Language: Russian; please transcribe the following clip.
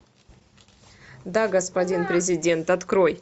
да господин президент открой